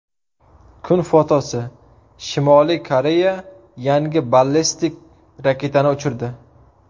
Kun fotosi: Shimoliy Koreya yangi ballistik raketani uchirdi.